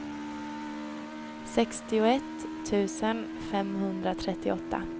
sextioett tusen femhundratrettioåtta